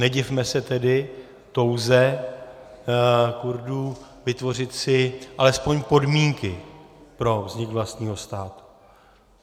Nedivme se tedy touze Kurdů vytvořit si alespoň podmínky pro vznik vlastního státu.